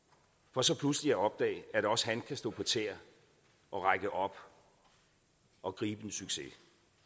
for så pludselig at opdage at også han kan stå på tæer og række op og gribe en succes